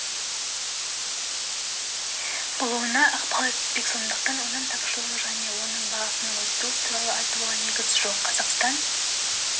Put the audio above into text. болуына ықпал етпек сондықтан өнім тапшылығы және оның бағасының өсуі туралы айтуға негіз жоқ қазақстан